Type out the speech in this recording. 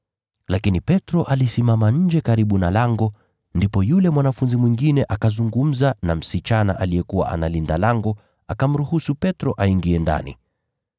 Lakini Petro alisimama nje karibu na lango, ndipo yule mwanafunzi mwingine, aliyejulikana na kuhani mkuu, akazungumza na msichana aliyekuwa analinda lango, akamruhusu Petro aingie ndani.